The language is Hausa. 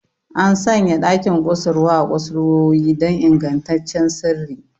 An sanya ɗakin kusurwa a kusurwoyi don ingantaccen sirri.